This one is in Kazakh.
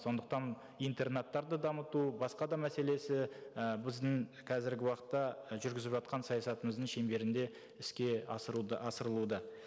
сондықтан интернаттарды дамыту басқа да мәселесі і біздің қазіргі уақытта жүргізіп жатқан саясатымыздың шеңберінде іске асырылуда